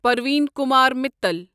Parveen Kumar Mittal